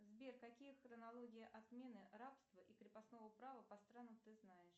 сбер какие хронологии отмены рабства и крепостного права по странам ты знаешь